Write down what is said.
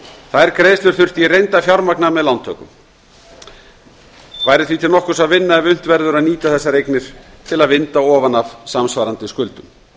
þær greiðslur þurfti í reynd að fjármagna með lántökum er því til nokkurs að vinna ef unnt verður að nýta þessar eignir til að vinda ofan af samsvarandi skuldum